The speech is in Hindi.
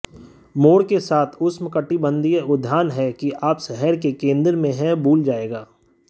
मोर के साथ उष्णकटिबंधीय उद्यान है कि आप शहर के केंद्र में हैं भूल जाएगा